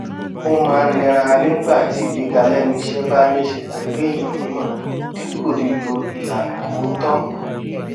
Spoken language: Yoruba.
ó máa ń nira nígbà tí ìgbéga lẹnu iṣẹ bá ní í ṣe pẹlú èèyàn mímọ dípò lílo ìlànà òótọ